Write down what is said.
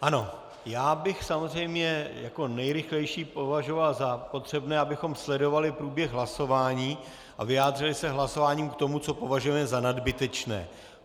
Ano, já bych samozřejmě jako nejrychlejší považoval za potřebné, abychom sledovali průběh hlasování a vyjádřili se hlasováním k tomu, co považujeme za nadbytečné.